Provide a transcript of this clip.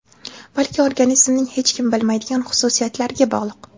balki organizmning hech kim bilmaydigan xususiyatlariga bog‘liq.